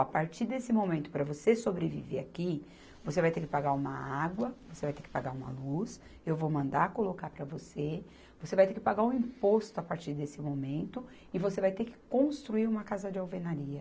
A partir desse momento para você sobreviver aqui, você vai ter que pagar uma água, você vai ter que pagar uma luz, eu vou mandar colocar para você, você vai ter que pagar um imposto a partir desse momento e você vai ter que construir uma casa de alvenaria.